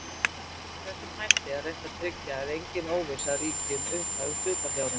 Með þessum hætti er reynt að tryggja að engin óvissa ríki um upphæð hlutafjárins.